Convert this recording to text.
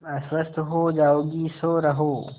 तुम अस्वस्थ हो जाओगी सो रहो